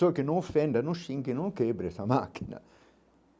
Só que não ofenda, não xingue, não quebra essa máquina.